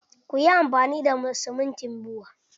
Kuyi amfani da siminti buwa!